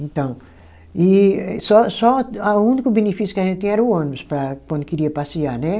Então, e só só a, o único benefício que a gente tinha era o ônibus para quando queria passear, né?